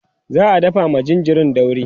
za'a dafa ma jinjirin dauri